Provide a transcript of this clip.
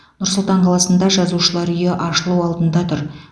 нұр сұлтан қаласында жазушылар үйі ашылу алдында тұр